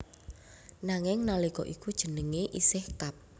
Nanging nalika iku jenenge isih Kab